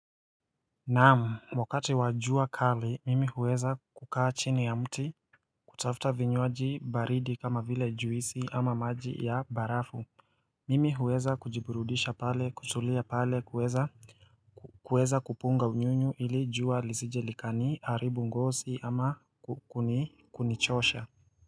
Naam wakati wa jua kali mimi huweza kukaa chini ya mti kutafuta vinywaji baridi kama vile juisi ama maji ya barafu Mimi huweza kujiburudisha pale kutulia pale kuweza kuweza kupunga unyunyu ili jua lisije likaniharibu ngozi ama kuni kunichosha.